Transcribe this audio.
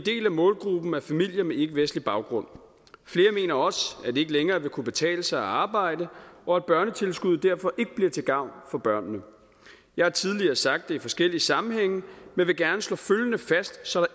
af målgruppen er familier med ikkevestlig baggrund flere mener også at det ikke længere vil kunne betale sig at arbejde og at børnetilskuddet derfor ikke bliver til gavn for børnene jeg har tidligere sagt det i forskellige sammenhænge men vil gerne slå følgende fast så